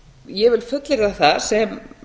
ég vil fullyrða það sem